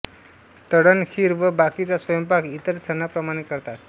तळण खीर व बाकीचा स्वयंपाक इतर सणाप्रमाणे करतात